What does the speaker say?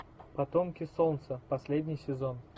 потомки солнца последний сезон